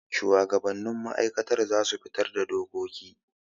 Shuwagabannin ma'aikata za su fitar da dokoki.